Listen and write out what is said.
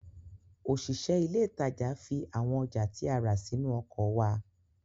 Òṣìṣẹ́ ilé ìtajà fi àwọn ọjà tí a rà sínú ọkọ̀ wa